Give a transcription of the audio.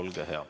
Olge hea!